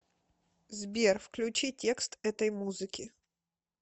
сбер включи текст этой музыки